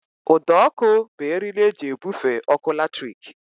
Ụdọọkụ bụ eriri e ji ebufe ọkụ latrik